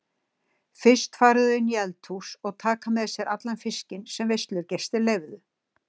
Fyrst fara þau inn í eldhús og taka með sér allan fiskinn sem veislugestir leyfðu.